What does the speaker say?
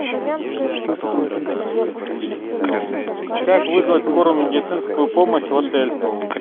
как вызвать скорую медицинскую помощь в отель